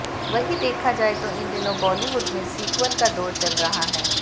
वहीं देखा जाए तो इन दिनों बॉलीवुड में सीक्वल का दौर चल रहा है